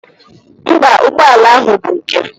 Mba, ụgbọala ahụ bụ nke m.